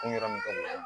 Kun yɔrɔ min ka bon